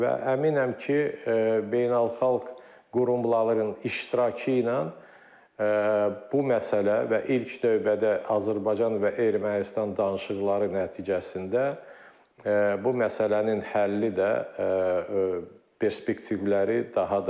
Və əminəm ki, beynəlxalq qurumların iştirakı ilə bu məsələ və ilk növbədə Azərbaycan və Ermənistan danışıqları nəticəsində bu məsələnin həlli də perspektivləri daha da böyükdür.